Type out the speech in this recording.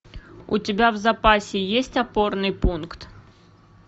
у тебя в запасе есть опорный пункт